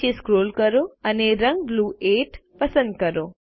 નીચે સ્ક્રોલ કરો અને રંગ બ્લૂ 8 પસંદ કરો